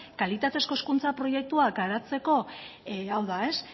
kalitatezko hezkuntza proiektua garatzeko hau da